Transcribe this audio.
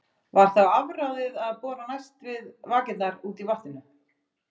Var þá afráðið að bora næst við vakirnar úti í vatninu.